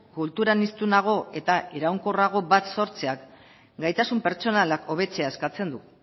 kulturan hiztunago eta iraunkorrago bat sortzeak gaitasun pertsonalak hobetzea eskatzen du